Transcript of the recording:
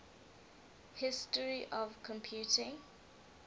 history of computing